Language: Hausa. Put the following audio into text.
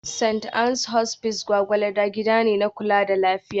St. Ann's Hospice Gwgwalada gida ne na kula da lafiya